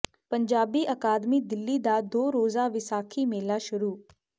ਪੰਜਾਬੀ ਅਕਾਦਮੀ ਦਿੱਲੀ ਦਾ ਦੋ ਰੋਜ਼ਾ ਵਿਸਾਖੀ ਮੇਲਾ ਸ਼ੁਰੂ